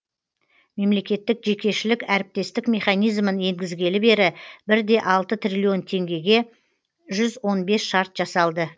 мемлекеттік жекешілік әріптестік механизмін енгізгелі бері бір де алты трилллион теңгеге жүз он бес шарт жасалды